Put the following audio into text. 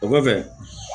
O kɔfɛ